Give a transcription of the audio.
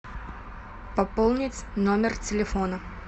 пополнить номер телефона